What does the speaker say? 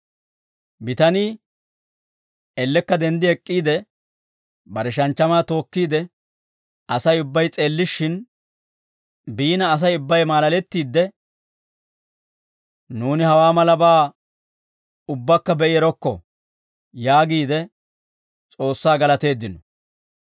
Bitanii ellekka denddi ek'k'iide, bare shanchchamaa tookkiide, Asay ubbay s'eellishshin biina Asay ubbay maalalettiide, «Nuuni hawaa malabaa ubbakka be'i erokko» yaagiide S'oossaa galateeddino.